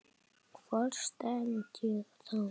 Hvar stend ég þá?